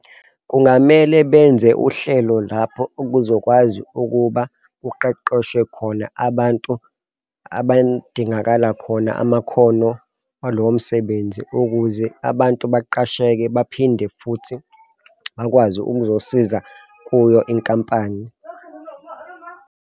Kungamele benze uhlelo lapho okuzokwazi ukuba kuqeqeshwe khona abantu abadingakala khona amakhono walowo msebenzi ukuze abantu beqasheke baphinde futhi bakwazi ukuzosiza kuyo inkampani.